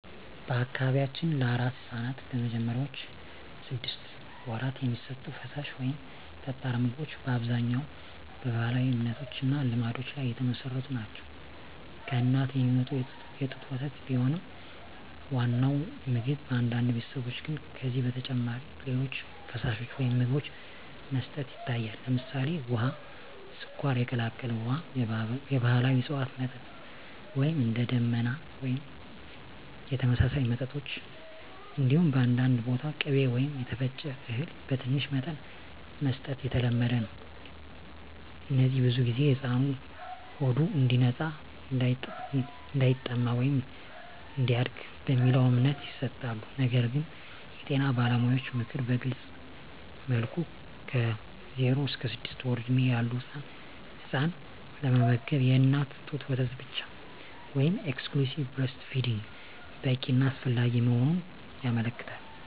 በአካባቢያችን ለአራስ ሕፃናት በመጀመሪያዎቹ ስድስት ወራት የሚሰጡ ፈሳሽ ወይም ጠጣር ምግቦች በአብዛኛው በባህላዊ እምነቶች እና ልማዶች ላይ የተመሠረቱ ናቸው። ከእናት የሚመጣ የጡት ወተት ቢሆንም ዋናው ምግብ፣ በአንዳንድ ቤተሰቦች ግን ከዚህ በተጨማሪ ሌሎች ፈሳሾች ወይም ምግቦች መስጠት ይታያል። ለምሳሌ፣ ውሃ፣ ስኳር የቀላቀለ ውሃ፣ የባህላዊ እፅዋት መጠጥ (እንደ “ደመና” ወይም የተመሳሳይ መጠጦች)፣ እንዲሁም በአንዳንድ ቦታ ቅቤ ወይም የተፈጨ እህል በትንሽ መጠን መስጠት የተለመደ ነው። እነዚህ ብዙ ጊዜ “ሕፃኑ ሆዱ እንዲነጻ”፣ “እንዳይጠማ” ወይም “እንዲያድግ” በሚለው እምነት ይሰጣሉ። ነገር ግን የጤና ባለሙያዎች ምክር በግልፅ መልኩ ከ0–6 ወር ዕድሜ ያለ ሕፃን ለመመገብ የእናት ጡት ወተት ብቻ (exclusive breastfeeding) በቂ እና አስፈላጊ መሆኑን ያመለክታሉ።